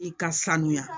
I ka sanuya